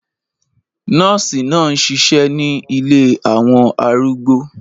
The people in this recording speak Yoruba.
Nọ́ọ̀sì náà ń ṣiṣẹ́ ní ilé àwọn arúgbó